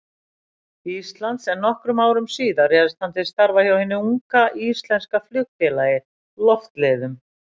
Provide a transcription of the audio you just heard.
Íslands, en nokkrum árum síðar réðst hann til starfa hjá hinu unga, íslenska flugfélagi, Loftleiðum.